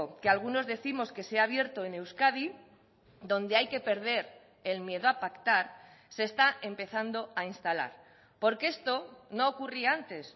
que algunos décimos que se ha abierto en euskadi donde hay que perder el miedo a pactar se está empezando a instalar porque esto no ocurría antes